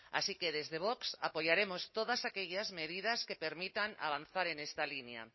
así que desde vox apoyaremos todas aquellas medidas que permitan avanzar en esta línea